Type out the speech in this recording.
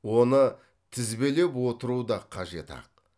оны тізбелеп отыру да қажет ақ